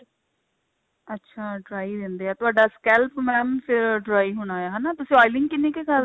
ਅੱਛਾ dry ਰਹਿੰਦੇ ਤੁਹਾਡਾ scalp mam ਫੇਰ dry ਹੋਣਾ ਹਨਾ ਤੁਸੀਂ oiling ਕਿੰਨੀ ਕੁ